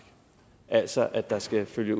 altså at der skal følge